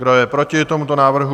Kdo je proti tomuto návrhu?